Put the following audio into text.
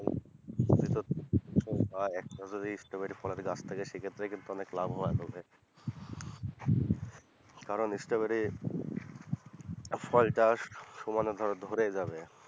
যদি তোর ফল হয় স্ট্রবেরি ফলের গাছ থেকে সেক্ষেত্রে কিন্তু অনেক লাভ হবে কারণ স্ট্রবেরি ফলটা সমানে ধর ধরে যাবে,